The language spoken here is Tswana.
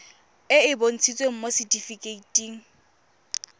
e e bontshitsweng mo setifikeiting